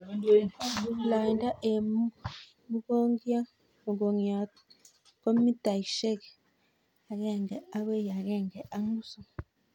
Loindo eng' mugongiot ko mitaishek agenge akoi agenge ak nusu